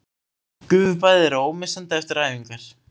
Gufubaðið er ómissandi eftir æfingar